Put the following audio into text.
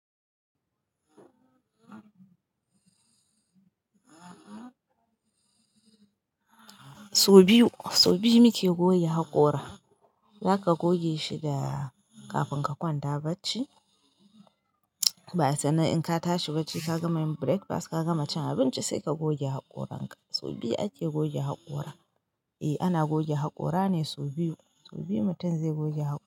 Sau biyu, sau biyu muke goge haƙora. Zaka goge shi da kafin ka kwanta bacci, ba sanan in ka tashi bacci ka gama yin breakfast ka gama cin abinci sai ka goge haƙoran ka. Sau biyu ake goge haƙora. Eh ana goge haƙora ne sau biyu, sau biyu mutum zai goge haƙora.